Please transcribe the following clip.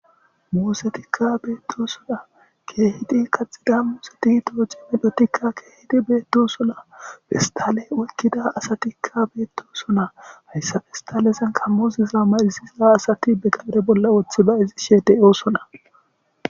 musetikka beettosona keehidi kaxida museti tooci medotikka keehidi beedo sona fistale olkida asatikka beettosona hayssafestalesan kammosiza marisiza asati be gabre bolla woththi bay izishe fe'oosona